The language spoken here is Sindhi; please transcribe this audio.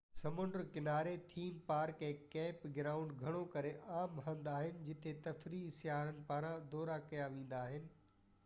سمنڊ ڪنارا ٿيم پارڪ ۽ ڪيمپ گرائونڊ گهڻو ڪري عام هنڌ آهن جتي تفريحي سياحن پاران دورو ڪيا ويندا آهن